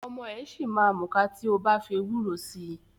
Ọmọ ẹ̀ ṣì ma múka tí o bá fi ewúro si.